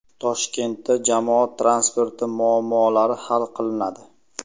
Toshkentda jamoat transporti muammolari hal qilinadi.